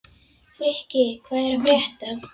Frikki, hvað er að frétta?